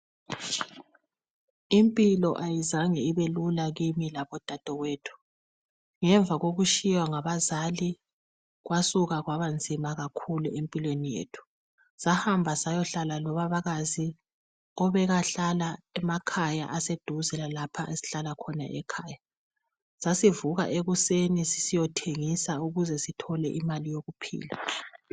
Impilo ayizange ibelula kimi labodadewethu. Ngemva kokushiywa ngabazali, Kwasuka kwabanzima kakhulu empilweni yethu. Sahamba sayohlala lobabakazi. Owayehlala emakhaya, aseduze lalapho esasihlala khona. Sasivuka ekuseni, siyethengisa ukube sizuze imali yokuphila.